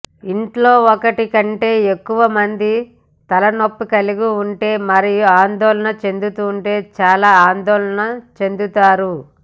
ఇంట్లో ఒకటి కంటే ఎక్కువ మంది తలనొప్పి కలిగి ఉంటే మరియు ఆందోళన చెందుతుంటే చాలా ఆందోళన చెందుతారు